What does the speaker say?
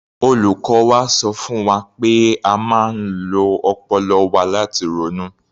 Olùkọ́ wa sọ fún wa pé a máa ń lo ọpọlọ wa láti ronú.